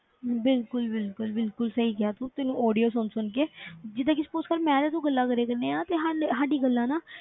ਬਿਲਕੁਲ ਬਿਲਕੁਲ ਬਿਲਕੁਲ ਸਹੀ ਕਿਹਾ ਤੂੰ, ਤੈਨੂੰ audio ਸੁਣ ਸੁਣ ਕੇ ਜਿੱਦਾਂ ਕਿ suppose ਕਰ ਮੈਂ ਤੇ ਤੂੰ ਗੱਲਾਂ ਕਰੀ ਜਾਂਦੇ ਹਾਂ ਤੇ ਸਾਡੇ ਸਾਡੀ ਗੱਲਾਂ ਨਾ,